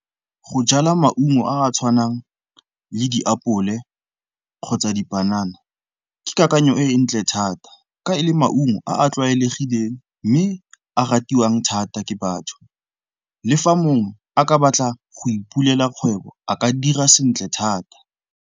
Go jala maungo a a tshwanang le diapole kgotsa dipanana, ke kakanyo e e ntle thata ka e le maungo a a tlwaelegileng mme a ratiwang thata ke batho. Le fa mongwe a ka batla go ipulela kgwebo, a ka dira sentle thata.